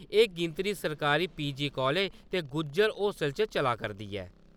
एह् गिनत्री सरकारी पी.जी कॉलेज ते गुज्जर होस्टल च चला करदी ऐ ।